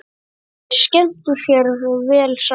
Þeir skemmtu sér vel saman.